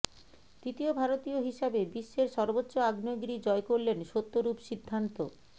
দ্বিতীয় ভারতীয় হিসাবে বিশ্বের সর্বোচ্চ আগ্নেয়গিরি জয় করলেন সত্যরূপ সিদ্ধান্ত